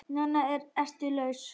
Núna ertu laus.